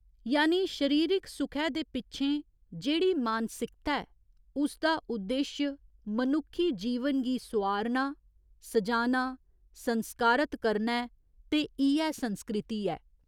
यानि शरीरिक सुखै दे पिच्छें जेह्ड़ी मानसिकता ऐ उसदा उद्देश्य मनुक्खी जीवन गी सोआरना, सजाना, संस्कारत करना ऐ ते इ'यै संस्कृति ऐ।